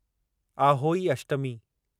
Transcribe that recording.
Ahoi Ashtami